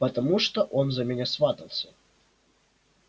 потому что он за меня сватался